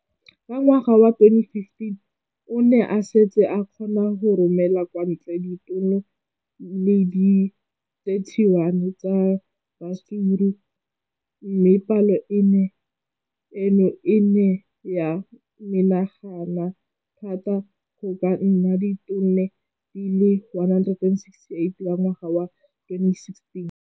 Ka ngwaga wa 2015, o ne a setse a kgona go romela kwa ntle ditone di le 31 tsa ratsuru mme palo eno e ne ya menagana thata go ka nna ditone di le 168 ka ngwaga wa 2016.